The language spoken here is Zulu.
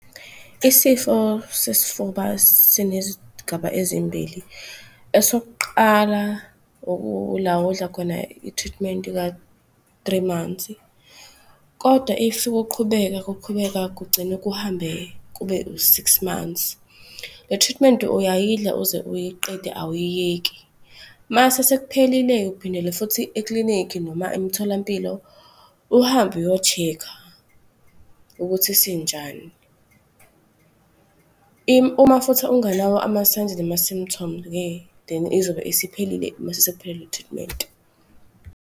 Isifo sesifuba sinezigaba ezimbili. Esokuqala ila odla khona i-treatment ka-three months kodwa if kuqhubeka, kuqhubeka kugcine kuhambe kube u-six months. Le treatment uyayidla uze uyiqede awuyiyeki. Mase sekuphelile-ke uphindela futhi iklinikhi noma emitholampilo uhambe uyo-check-a ukuthi sinjani. Uma futhi unganawo ama-signs nama-symptom-ke then izobe isiphelile mase sekuphele le treatment.